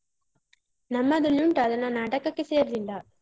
ನಮ್ಮದ್ರಲ್ಲಿ ಉಂಟು, ಆದ್ರೆ ನಾನ್ ನಾಟಕಕ್ಕೆ ಸೇರ್ಲಿಲ್ಲ.